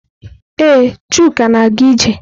Ee, Chuka na-aga ije.